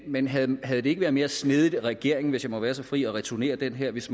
men havde havde det ikke været mere snedigt af regeringen hvis jeg må være så fri at returnere den her hvis